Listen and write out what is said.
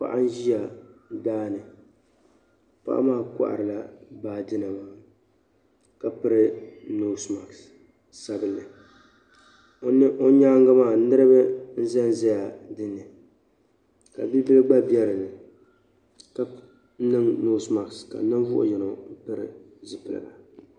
paɣa n ʒia daa ni paɣa maa kɔhirila baajinima ka piri noosi masiki sabinlli o nyaanga maa niriba za n zaya dinni ka bi' so gba be dinni ka niŋ noosi masiki ka ninvuɣ' yino pili zipiligu